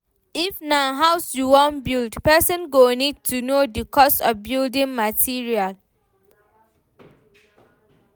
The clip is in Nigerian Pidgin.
If na house you wan build, person go need to know di cost of building materials